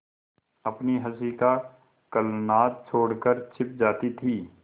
अपनी हँसी का कलनाद छोड़कर छिप जाती थीं